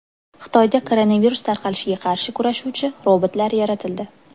Xitoyda koronavirus tarqalishiga qarshi kurashuvchi robotlar yaratildi.